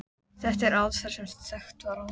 Þetta er aðferð sem þekkt var áður.